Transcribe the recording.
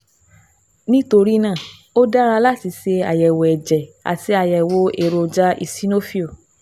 Nítorí náà, ó dára láti ṣe àyẹ̀wò ẹ̀jẹ̀ àti àyẹ̀wò èròjà eosinophil